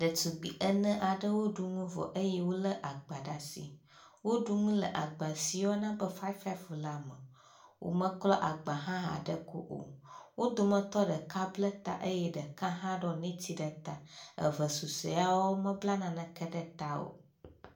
Ɖetugbi ene aɖewo ɖu nu vɔ eye wo le agba ɖe asi. Woɖu nu le agba si woyɔna be ƒƒ la me. Womeklɔ agba hƒ aɖe o. wo dometɔ ɖeka ble ta eye ɖeka hã ɖɔ net ɖe ta. Eve susɔewo y a mebla naneke ɖe ta o.